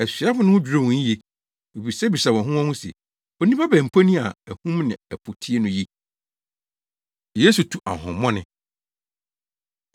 Asuafo no ho dwiriw wɔn yiye. Wobisabisaa wɔn ho wɔn ho se, “Onipa bɛn mpo ni a ahum ne ɛpo tie no yi?” Yesu Tu Ahohommɔne